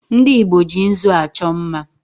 Ndị Igbo ji nzụ achọ mma